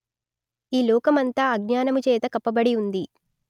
ఈ లోకమంతా అజ్ఞానము చేత కప్పబడి ఉంది